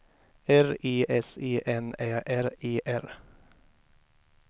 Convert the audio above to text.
R E S E N Ä R E R